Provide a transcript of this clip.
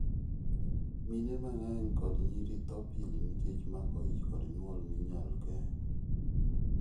Mine mang'eny kod nyiri tho pile nikech mako ich kod nyuol ma inyal geng'.